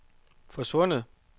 forsvundet